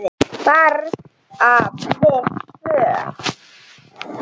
Bara við tvö?